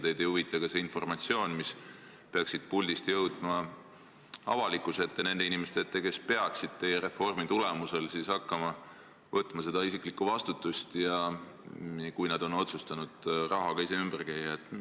Teid ei huvita ka see informatsioon, mis peaks siit puldist jõudma avalikkuse ette – nende inimeste ette, kes teie reformi tulemusel peaksid hakkama võtma seda isiklikku vastutust, juhul kui nad otsustavad oma rahaga ise ümber käia.